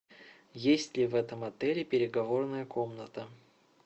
есть ли в этом отеле переговорная комната